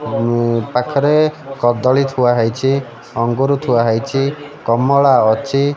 ଉନ ପାଖରେ କଦଳୀ ଥୁଆ ହେଇଛି ଅଙ୍ଗୁର ଥୁଆ ହେଇଛି କମଳା ଅଛି।